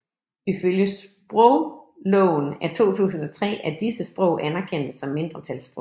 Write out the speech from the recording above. Ifølge sprogloven af 2003 er disse sprog anerkendte som mindretalssprog